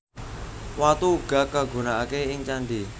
Watu uga kagunakaké ing candhi